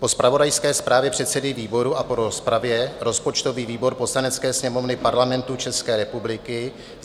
"Po zpravodajské zprávě předsedy výboru a po rozpravě rozpočtový výbor Poslanecké sněmovny Parlamentu České republiky